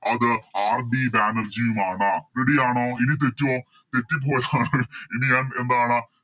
അത് RD ബാനർജിയുമാണ് Ready ആണോ ഇനി തെറ്റുവോ തെറ്റിപ്പോയാൽ ഇനി ഞാൻ എന്താണ്